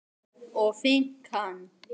og finkan?